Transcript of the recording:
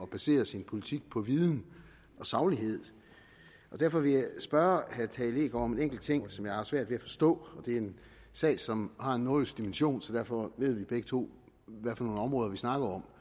basere sin politik på viden og saglighed og derfor vil jeg spørge herre tage leegaard om en enkelt ting som jeg har svært ved at forstå det er en sag som har en nordjysk dimension så derfor ved vi begge to hvad for nogle områder vi snakker om